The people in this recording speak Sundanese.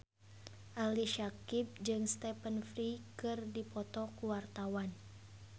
Ali Syakieb jeung Stephen Fry keur dipoto ku wartawan